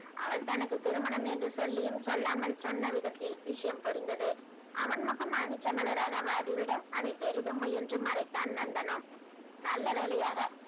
அவள் தனக்கு திருமணம் என்று சொல்லியும் சொல்லாமல் சொன்ன விதத்தில் விஷயம் புரிந்தது அவன் முகம் மாணிக்கம் மலராக வாடிவிட அதை பெரிதும் முயன்று மறைத்தான் நந்தனம் நல்ல வேலையாக